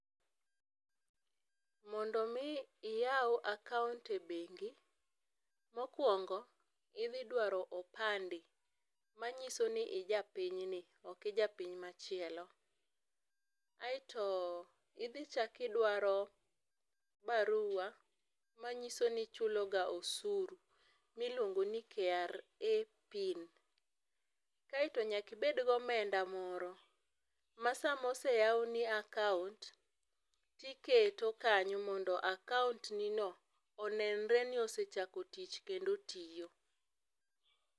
Mondo mi iyaw akaunt e bengi mokuongo idhi dwaro opande manyisoni ija pinyni ok ija piny machielo aito idhi chak idwaro barua manyisoni ichuloga osuru miluongoni KRA Pin, kaito nyaka ibed gomenda moro ma koseyawni akaunt tiketo kanyo mondo akaunt ni no onenre ni osechako tich kendo otiyo